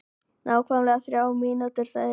Nákvæmlega þrjár mínútur sagði Lilla.